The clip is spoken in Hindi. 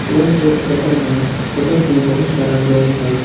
यह एक होटल है होटल में बहुत सारा लोग हैं।